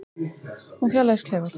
Hún fjarlægist klefann.